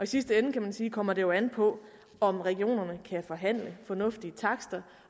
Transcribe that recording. sidste ende kan man sige kommer det jo an på om regionerne kan forhandle fornuftige takster